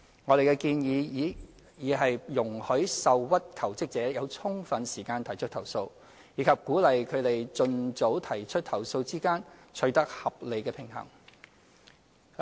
我們的建議已在容許受屈求職者有充分時間提出投訴，以及鼓勵他們盡早提出投訴之間取得合理平衡。